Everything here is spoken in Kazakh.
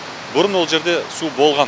бұрын ол жерде су болған